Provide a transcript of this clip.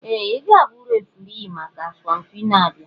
Ee! Ị ga-abụ onye referee maka asọmpi na-abịa.